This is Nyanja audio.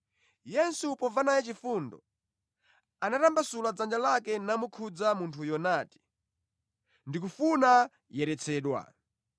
Yesu pomva naye chifundo, anatambasula dzanja lake namukhudza munthuyo nati, “Ndikufuna, yeretsedwa!”